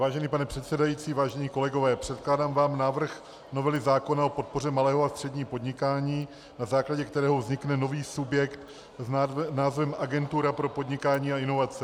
Vážený pane předsedající, vážení kolegové, předkládám vám návrh novely zákona o podpoře malého a středního podnikání, na základě kterého vznikne nový subjekt s názvem Agentura pro podnikání a inovace.